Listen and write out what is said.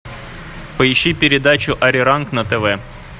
поищи передачу ариранг на тв